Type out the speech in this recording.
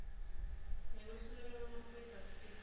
ngekwehluleka kwemaphoyisa kusita